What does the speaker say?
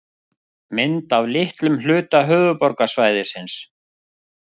Mynd af litlum hluta höfuðborgarsvæðisins.